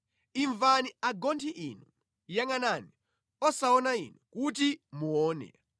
“Imvani, agonthi inu; yangʼanani osaona inu, kuti muone!